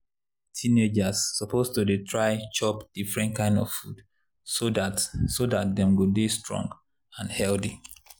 teenagers suppose dey try chop different kind of food so dat so dat dem go dey strong and healthy.